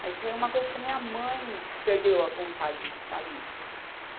Mas foi uma coisa que a minha mãe perdeu a vontade de estar ali.